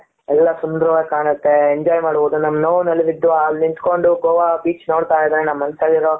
ಎಲ್ಲ ಸುಂದರವಾಗಿ ಕಾಣುತ್ತೆ enjoy ಮಾಡ್ಬೋದು ನಮ್ಮ ನೋವಿನಲ್ಲಿದ ಅಲ್ ನಿಂತ್ಕೊಂಡು ಗೋವಾ ಬೀಚ್ ನೋಡ್ತಾ ಇದ್ರೆ ನಮ್ಮ ಮನಸಲ್ಲಿರೋ